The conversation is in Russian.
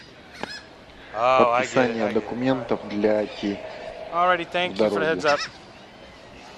подписание документов для оки в дороге